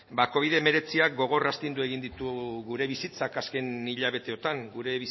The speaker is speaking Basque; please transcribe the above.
covid hemeretziak gogor astindu egin ditu gure bizitzak azken hilabeteotan gure